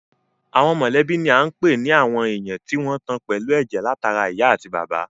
Àwọn mọ̀lẹ́bí ni à ń pè ní àwọn èèyàn tí wọ́n tan pẹ̀lú ẹ̀jẹ̀ látara ìyá àti bàbá